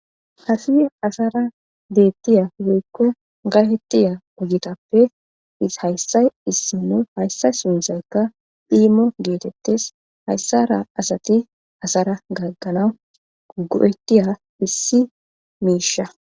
hafi asara deettiya woykko gahettiya ugitappe hayssay issi nu hayssay sunzaykka dhiimo geetettes hayssara asati asara gagganawu gugo7etiya issi miisha